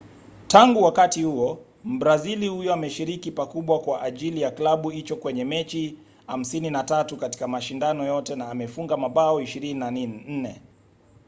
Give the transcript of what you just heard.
tangu wakati huo mbrazili huyo ameshiriki pakubwa kwa ajili ya klabu hicho kwenye mechi 53 katika mashindano yote na amefunga mabao 24